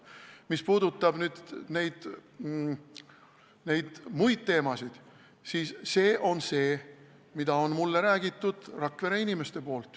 Mis puudutab neid muid teemasid, siis see on see, mida on mulle rääkinud Rakvere inimesed.